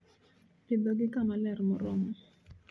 Pidhogi kama ler moromo